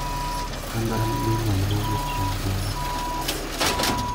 An an gi imel ma owuok kuom Juma.